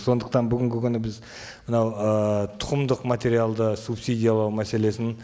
сондықтан бүгінгі күні біз мынау ы тұқымдық материалды субсидиялау мәселесін